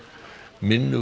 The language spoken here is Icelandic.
minnug